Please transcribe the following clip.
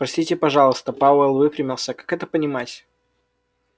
простите пожалуйста пауэлл выпрямился как это понимать